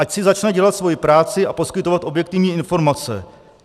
Ať si začne dělat svoji práci a poskytovat objektivní informace.